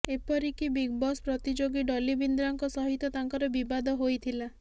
ଏପରିକି ବିଗବସ୍ ପ୍ରତିଯୋଗୀ ଡଲି ବିନ୍ଦ୍ରାଙ୍କ ସହିତ ତାଙ୍କର ବିବାଦ ହୋଇଥିଲା